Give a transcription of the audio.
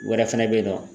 Wɛrɛ fɛnɛ bɛ ye nɔ